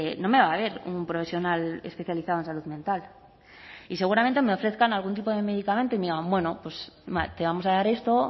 no me va a ver un profesional especializado en salud mental y seguramente me ofrezcan algún tipo de medicamento y me digan bueno te vamos a dar esto